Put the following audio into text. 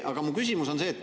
Aga mu küsimus on see.